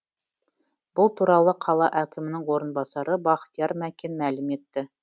бұл туралы қала әкімінің орынбасары бақтияр мәкен мәлім етті